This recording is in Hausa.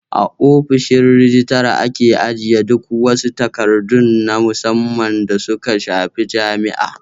A ofishin rijitara ake ajiye duk wasu takardu na musamman da suka shafi jami'a